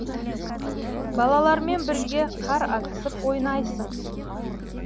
балалармен бірге қар атысып ойнайсың